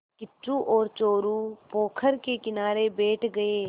किच्चू और चोरु पोखर के किनारे बैठ गए